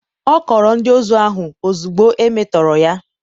ọ kọọrọ ndị ozu ahụ ozugbo e metọrọ ya.